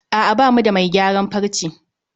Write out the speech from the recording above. A'a bamu da mai gayaran farce